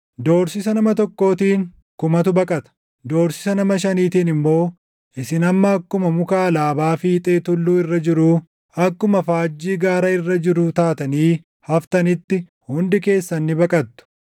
Doorsisa nama tokkootiin, kumatu baqata; doorsisa nama shaniitiin immoo, isin hamma akkuma muka alaabaa fiixee tulluu irra jiruu, akkuma faajjii gaara irra jiruu taatanii haftanitti hundi keessan ni baqattu.”